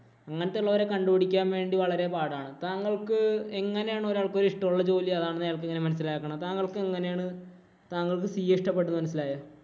അങ്ങനെത്തെയുള്ളവരെ കണ്ടുപിടിക്കാന്‍ വേണ്ടി വളരെ പാടാണ്. താങ്കള്‍ക്ക് എങ്ങനെയാണ് ഒരാൾക്ക് ഇഷ്ടമുള്ള ജോലി അതാണെന്ന് എങ്ങനെയാണ് മനസിലാക്കണത്? താങ്കള്‍ക്ക് എങ്ങനെയാണ് താങ്കള്‍ക്ക് CA ഇഷ്ടപ്പെട്ടന്ന് മനസിലായി?